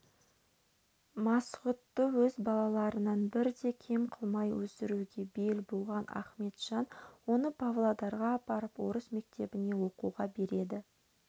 масғұтты өз балаларынан бір де кем қылмай өсіруге бел буған ахметжан оны павлодарға апарып орыс мектебіне оқуға береді